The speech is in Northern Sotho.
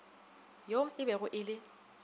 yo e bego e le